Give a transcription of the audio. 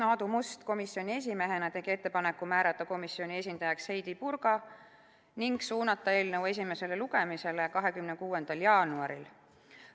Aadu Must tegi komisjoni esimehena ettepaneku määrata komisjoni esindajaks Heidy Purga ning suunata eelnõu esimesele lugemisele 26. jaanuariks.